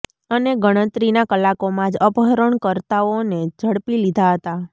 અને ગણતરીનાં કલાકોમાં જ અપહરણ કર્તા ઓને ઝડપી લીધા હતા